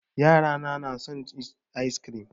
Yara na na son ice kirim